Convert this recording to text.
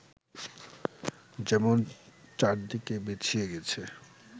যেমন চারদিকে বিছিয়ে গেছে